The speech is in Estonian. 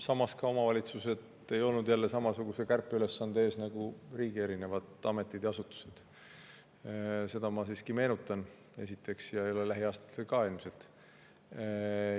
Samas, omavalitsused ei olnud samasuguse kärpeülesande ees nagu riigi ametid ja asutused – seda ma meenutan esiteks – ja ei ole ka lähiaastatel ilmselt.